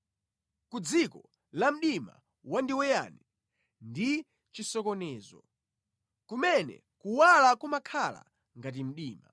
ku dziko la mdima wandiweyani ndi chisokonezo, kumene kuwala kumakhala ngati mdima.”